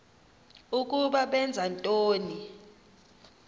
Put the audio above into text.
ukuba benza ntoni